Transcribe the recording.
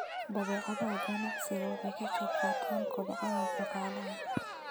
Badeecadaha ganacsigu waxay ka qayb qaataan kobaca dhaqaalaha.